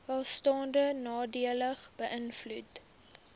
welstand nadelig beïnvloed